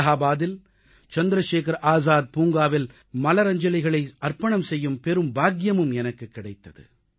அலகாபாதில் சந்திரசேகர ஆசாத் பூங்காவில் மலரஞ்சலிகளை அர்ப்பணம் செய்யும் பெரும் பாக்கியமும் எனக்குக் கிடைத்தது